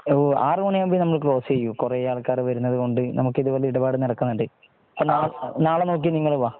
ഒരു ആർ മണി ആകുമ്പോൾ നമ്മൾ ക്ലോസ് ചെയ്യും കുറെ ആൾക്കാർ വരുന്ന കൊണ്ട് നമ്മുക്ക് ഇതുപോലെ ഇടപാട് നടക്കുന്നുണ്ട്